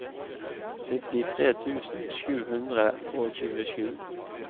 syttitre tusen sju hundre og tjuesju